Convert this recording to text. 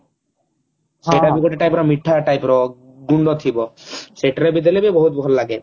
ସେଟା ଗୋଟେ type ର ମିଠା type ର ଗୁଣ୍ଡ ଥିବ ସେଟେରେ ଦେଲେବି ବହୁତ ଭଲ ଲାଗେ